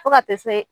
Fo ka taa se